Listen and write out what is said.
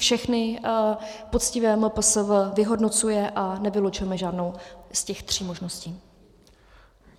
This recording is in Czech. Všechny poctivě MPSV vyhodnocuje a nevylučujeme žádnou z těch tří možností.